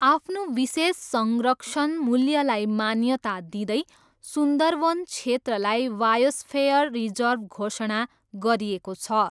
आफ्नो विशेष संरक्षण मूल्यलाई मान्यता दिँदै, सुन्दरवन क्षेत्रलाई बायोस्फेयर रिजर्भ घोषणा गरिएको छ।